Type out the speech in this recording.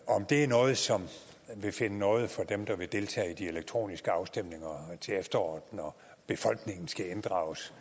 om det er noget som vil finde nåde for dem der vil deltage i de elektroniske afstemninger til efteråret når befolkningen skal inddrages